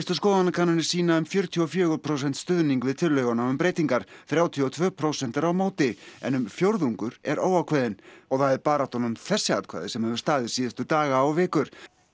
skoðanakannanir sýna um fjörutíu og fjögur prósent stuðning við tillöguna um breytingar þrjátíu og tvö prósent eru á móti en um fjórðungur er óákveðinn og það er baráttan um þessi atkvæði sem hefur staðið síðustu daga og vikur